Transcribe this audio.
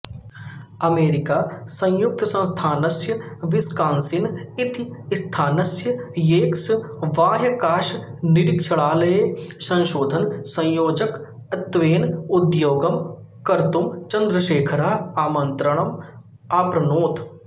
अमेरिकासंयुक्तसंस्थानस्य Wisconsin इति स्थानस्य Yerkes बाह्याकाशनिरीक्षणालये संशोधनसंयोजकत्वेन उद्योगं कर्तुं चन्द्रशेखरः आमन्त्रणम् आप्नोत्